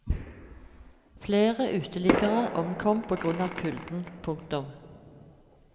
Flere uteliggere omkom på grunn av kulden. punktum